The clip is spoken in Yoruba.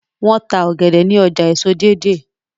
wón tá ògèdè ní ọjà èso Deidei.